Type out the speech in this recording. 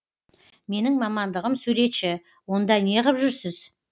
менің мамандығым суретші онда неғып жүрсіз